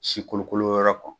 Si kolokolo yɔrɔ kɔ.